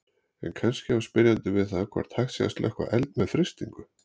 En kannski á spyrjandi við það hvort hægt sé að slökkva eld með frystingu.